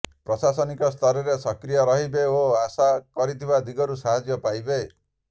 ପ୍ରଶାସନିକ ସ୍ତରରେ ସକ୍ରୀୟ ରହିବେ ଓ ଆଶା କରିଥିବା ଦିଗରୁ ସାହାଯ୍ୟ ପାଇବେ